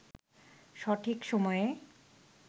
সঠিক সময়ে